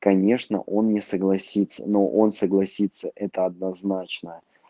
конечно он не согласится но он согласится это однозначно